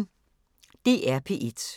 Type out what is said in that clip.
DR P1